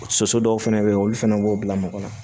Soso dɔw fɛnɛ bɛ yen olu fana b'o bila mɔgɔ la